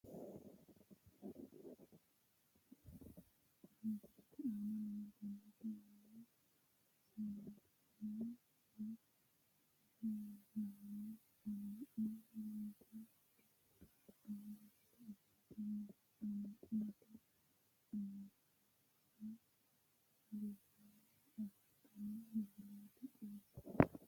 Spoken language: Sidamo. Kuri misilete aana leeltanno manni isiliminnu woy isilaamu amma'no harunsaano ikkitanna gamba yite ofolte amma'note amuraatensa harissanni afantannota misile xawissanno.